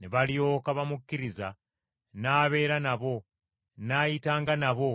Ne balyoka bamukkiriza n’abeeranga nabo, n’ayitanga nabo